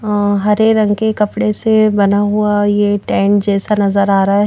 हरे रंग के कपड़े से बना हुआ ये टैंक जैसा नजर आ रहा है।